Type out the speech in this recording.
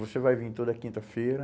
Você vai vir toda quinta-feira...